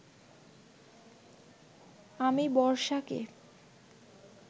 আমি বর্ষাকে